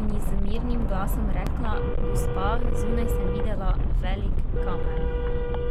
in ji z mirnim glasom rekla: "Gospa, zunaj sem videla velik kamen.